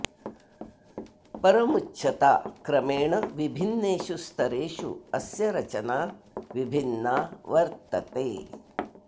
परमुच्चता क्रमेण विभिन्नेषु स्तरेषु अस्य रचना विभिन्ना वर्त्तते